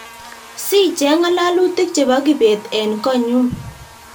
Si cheng ngalalutik chebo Kibet en konyun